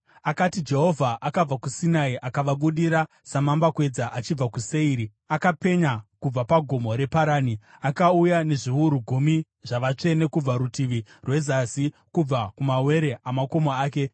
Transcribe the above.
Akati: “Jehovha akabva kuSinai akavabudira samambakwedza achibva kuSeiri; akapenya kubva paGomo reParani. Akauya nezviuru gumi zvavatsvene kubva rutivi rwezasi, kubva kumawere amakomo ake.